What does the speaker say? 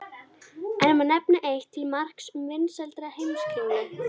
Enn má nefna eitt til marks um vinsældir Heimskringlu.